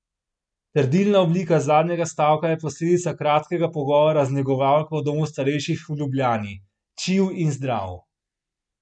Trdilna oblika zadnjega stavka je posledica kratkega pogovora z negovalko v domu starejših v Ljubljani: "Čil in zdrav!